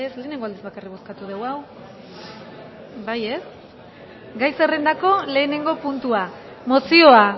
gai zerrendako lehenengo puntua mozioa